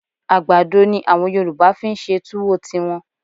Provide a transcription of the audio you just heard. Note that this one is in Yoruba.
À̀gbàdo ni àwọn Yorùbá fi ń ṣe túwó tiwọn